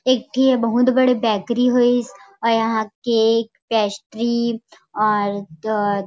एक ठी ये बहुत बड़े बेकरी हे अउ यहाँ केक पैस्ट्री और एक